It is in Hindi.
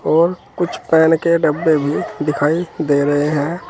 और कुछ पेन के डब्बे भी दिखाई दे रहे हैं।